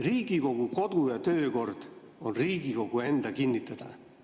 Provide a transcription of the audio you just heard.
Riigikogu kodu‑ ja töökord on Riigikogu enda kinnitada.